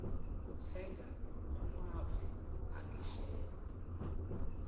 kutsenga kumave angesheya